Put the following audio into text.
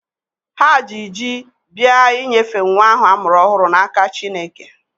Ha ji ji bịa inyefe nwa ahụ a mụrụ ọhụrụ n'aka Chineke.